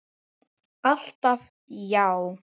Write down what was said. Alltaf já.